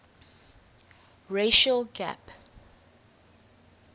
racial gap